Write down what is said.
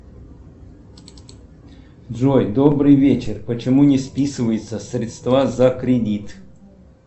джой добрый вечер почему не списываются средства за кредит